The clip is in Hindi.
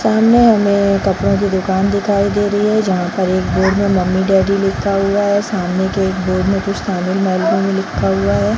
सामने हमे कपड़ो की दुकान दिखाई दे रही है | जहाँ पर एक बोर्ड में मम्मी डैडी लिखा हुआ है | सामने के एक बोर्ड मे कुछ तमिल में लिखा हुआ है |